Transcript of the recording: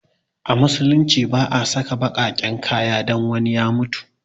A musulunci ba a saka baƙaƙen kaya don wani ya mutu